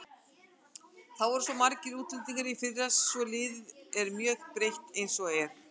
Það voru svo margir útlendingar í fyrra svo liðið er mjög breytt eins og er.